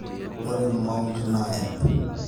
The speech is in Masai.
ore mound naa ep